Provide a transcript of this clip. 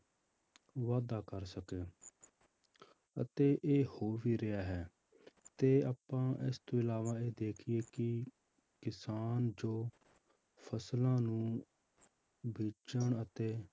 ਵਾਧਾ ਕਰ ਸਕੇ ਅਤੇ ਇਹ ਹੋ ਵੀ ਰਿਹਾ ਹੈ ਤੇ ਆਪਾਂ ਇਸ ਤੋਂ ਇਲਾਵਾ ਇਹ ਦੇਖੀਏ ਕਿ ਕਿਸਾਨ ਜੋ ਫਸਲਾਂ ਨੂੰ ਬੀਜਣ ਅਤੇ